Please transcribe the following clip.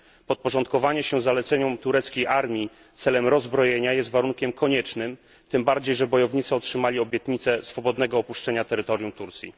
Podporządkowanie się zaleceniom tureckiej armii celem rozbrojenia jest warunkiem koniecznym, tym bardziej że bojownicy otrzymali obietnicę swobodnego opuszczenia terytorium Turcji.